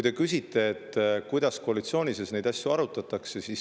Te küsite, kuidas koalitsiooni sees neid asju arutatakse.